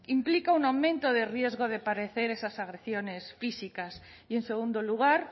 implica un aumento de riesgo de parecer estas agresiones físicas y en segundo lugar